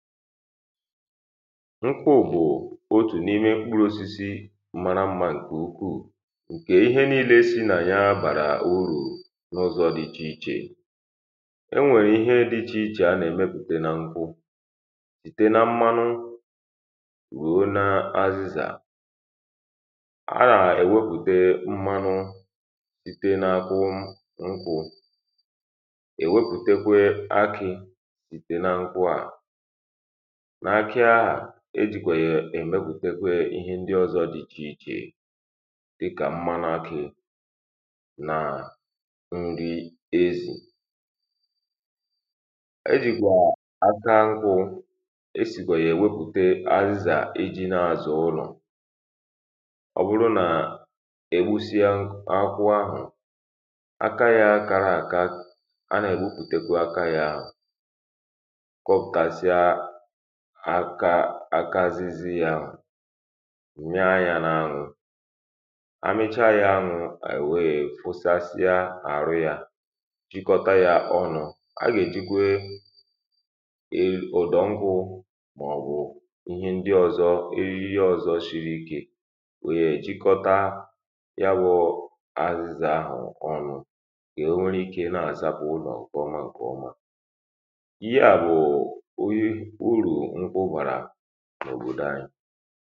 nkwụ bụ̀ otù n’imē mkpụrụ osisi mara mma ǹke ukwuù ǹkè ihe niile si nà ya bàrà urù n’úzọ̀ dị̄ ichè ichè enwèrè ihe dị́ ichè ichè a nà-èmepụ̀te nà nkwụ ìtè nà mmanụ rùo n’àzizà a nà-èwepùte mmanụ sitē n’akwụ nkwụ èwepùtekwe akị sìtè nà nkwụ à n’ákị ahà ejìkwèyè èmepùtekwe ihe ndi ọ̀zọ dị ichè ichè dịkà mmanụ akị nà ndi ezì ejìkwà aka nkwụ esìkwà yà èwepùte àzizà iji nà-azà ụlọ̀ ọbụrụ nà-egbusia akwụ ahụ̀ aka ya kara àka a nà-ègbupùtekwe aka ya ahụ̀ kọpụ̀tasia aka azizi ya ahụ̀ nyaa ya n’anwụ̄ amicha ya anwụ̄ èwe yé kwụsasia àrụ ya chịkọta ya ọnụ̄ agà èjikwe ụ̀dọ̀ nkụ mà ọ̀bụ̀ ihe ndi ọ̀zọ eriri ọ̀zọ shiri ikē wère ye jikọta ya bụ àzizà ahụ̀ ọnụ̄ ka enwerụ ikē na-àzapụ̀ ụlọ̀ ǹkè ọma ǹkè ọma ihe à bụ̀ urù nkwụ bàrà n’òbòdò anyị